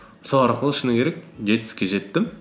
сол арқылы шыны керек жетістікке жеттім